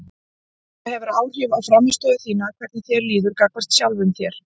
Það hefur áhrif á frammistöðu þína hvernig þér líður gagnvart sjálfum þér.